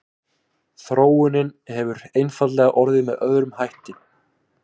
Þróunin hefur einfaldlega orðið með öðrum hætti.